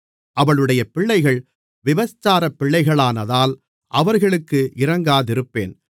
அவளுடைய பிள்ளைகள் விபச்சாரப்பிள்ளைகளானதால் அவர்களுக்கு இரங்காதிருப்பேன்